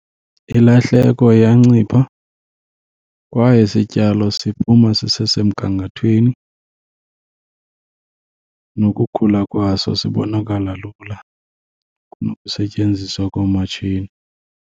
Ilahleko iyancipha kwaye isityalo siphuma sisesemgangathweni nokukhula kwaso sibonakala lula kunokusetyenziswa koomatshini.